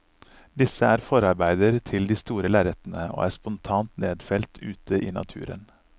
Disse er forarbeider til de store lerretene, og er spontant nedfelt ute i naturen.